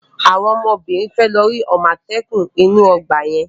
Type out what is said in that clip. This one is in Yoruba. Àwọn ọmọbìnrin mi fẹ́ lọ rí àmọ́tẹ́kùn inú ọgbà yẹn.